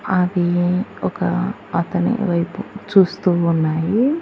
అది ఒక అతని వైపు చూస్తూ ఉన్నాయి.